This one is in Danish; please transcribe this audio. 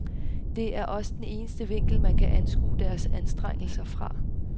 Det er også den eneste vinkel, man kan anskue deres anstrengelser fra.